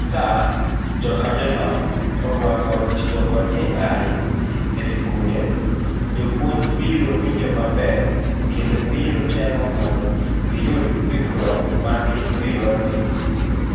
Ka jokanyono oruako tiyo kod AI e sikunde, jopuonj biro winjo maber kendo biro temo mondo giyud ikruok margi eyorni.